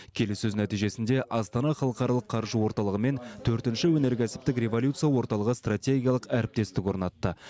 келіссөз нәтижесінде астана халықаралық қаржы орталығы мен төртінші өнеркәсіптік революция орталығы стратегиялық әріптестік орнатты